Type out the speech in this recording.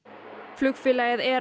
flugfélagið